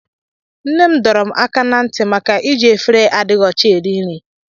Nne m dọrọ m áká na nti maka iji efere adịghị ọcha eri nri.